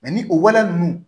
ni o waleya ninnu